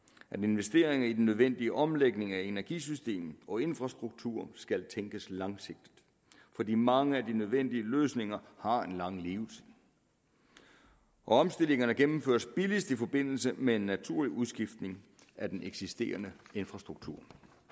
at investeringer i den nødvendige omlægning af energisystemet og infrastrukturen skal tænkes langsigtet fordi mange af de nødvendige løsninger har en lang levetid omstillingerne gennemføres billigst i forbindelse med en naturlig udskiftning af den eksisterende infrastruktur